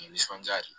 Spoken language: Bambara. Nisɔndiya de ye